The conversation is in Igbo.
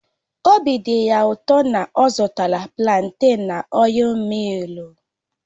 Obi dị ya ụtọ na a zụtara planten na ọil millu